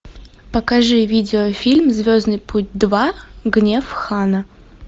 покажи видеофильм звездный путь два гнев хана